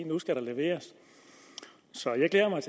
nu skal der leveres så jeg glæder mig